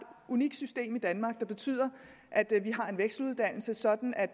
unikt system i danmark der betyder at vi har en vekseluddannelse sådan at